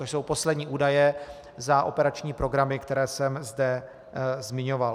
To jsou poslední údaje za operační programy, které jsem zde zmiňoval.